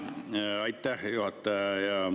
Jaa, aitäh, juhataja!